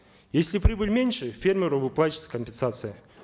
если прибыль меньше фермеру выплачивается компенсация